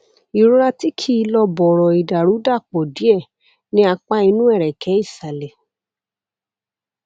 ìrora tí kìí lọ bọrọ ìdàrúdàpọ díẹ ní apá inú ẹrẹkẹ ìsàlẹ